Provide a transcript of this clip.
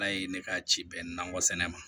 Ala ye ne ka ci bɛn nakɔ sɛnɛ ma